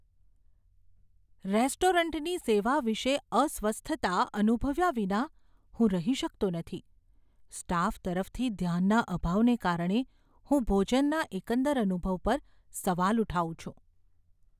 રેસ્ટોરન્ટની સેવા વિશે અસ્વસ્થતા અનુભવ્યા વિના હું રહી શકતો નથી, સ્ટાફ તરફથી ધ્યાનના અભાવને કારણે હું ભોજનના એકંદર અનુભવ પર સવાલ ઉઠાવું છું.